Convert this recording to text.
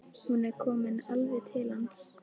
Hún er komin alveg til hans.